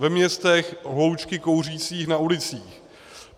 V městech hloučky kouřících na ulicích.